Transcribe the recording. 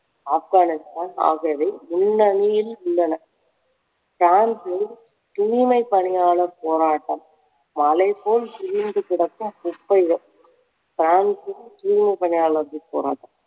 ஆப்கானிஸ்தான் ஆகியவை முன்னணியில் உள்ளன. பிரான்சில் தூய்மை பணியாளர் போராட்டம் மலைபோல் குவிந்து கிடக்கும் குப்பைகள் பிரான்சில் தூய்மை பணியாளர்கள் போராட்டம்